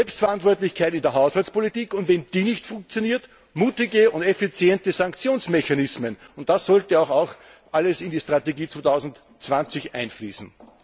Selbstverantwortlichkeit in der Haushaltspolitik, und wenn die nicht funktioniert, mutige und effiziente Sanktionsmechanismen das sollte auch alles in die Strategie 2020 einfließen!